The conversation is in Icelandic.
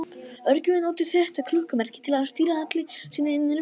Örgjörvinn notar þetta klukkumerki til að stýra allri sinni innri vinnslu.